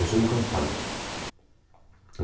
Eu sou inconstante.